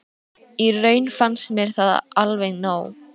Í raun fannst mér það alveg nóg